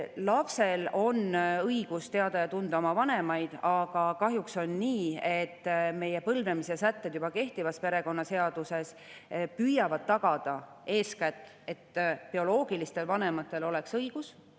Lapsel on õigus teada ja tunda oma vanemaid, aga kahjuks on nii, et põlvnemissätted juba kehtivas perekonnaseaduses püüavad tagada eeskätt seda, et bioloogilistel vanematel oleksid õigused.